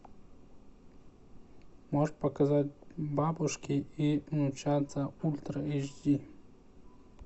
можешь показать бабушки и внучата ультра эйч ди